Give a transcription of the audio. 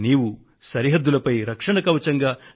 నువ్వు అక్కడ సరిహద్దులను కాపలా కాస్తున్నావు కదా